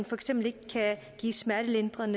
for eksempel ikke kan give smertelindring